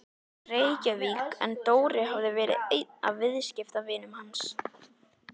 Reykjavík en Dóri hafði verið einn af viðskiptavinum hans.